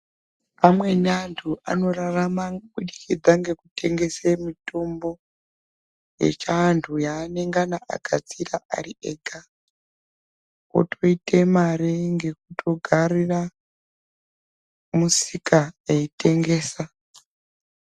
Amweni anthu anorarama ngenga ngekutengese mitombo yechantu yanengana gadzira ari ega. Wotoite mari ngekutogarira musika eyitengesa.